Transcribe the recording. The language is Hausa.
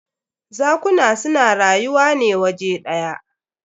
Zakuna su na rayuwa ne waje ɗya.